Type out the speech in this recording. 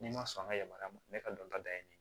N'i ma sɔn an ka yamaruya ma ne ka dɔnta dalen no